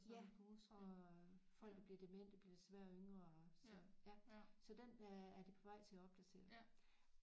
Ja og folk der bliver demente bliver desværre yngre og så ja så den øh er de på vej til at opdatere